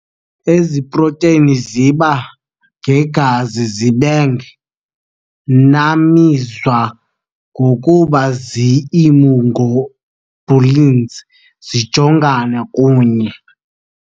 Ezi proteni ziba] ngegazi, zibeng], nabizwa ngokuba zii-immunoglobulins, zijongana ], kunye ].